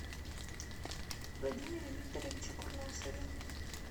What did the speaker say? владимире викторовиче курносове